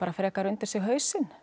frekar undir sig hausinn